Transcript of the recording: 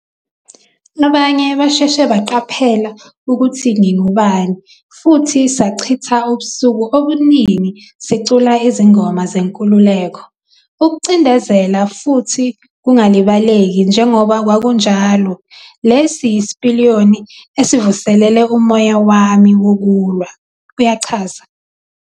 Abanye basheshe baqaphela ukuthi ngingubani futhi sachitha ubusuku obuningi sicula izingoma zenkululeko. Ukucindezela futhi kungalibaleki njengoba kwakunjalo, lesi yisipiliyoni esivuselele umoya wami wokulwa ", uyachaza.